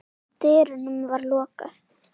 dyrunum var lokað.